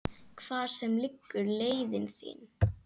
Hvar sem liggur leiðin þín.